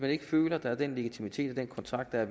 ikke føler at der er den legitimitet den kontrakt ved at